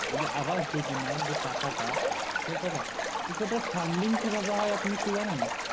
এই যে আবাস যোজনা যে টাকাটা কি সেটার funding কি করে হয় আপনি একটু জানেন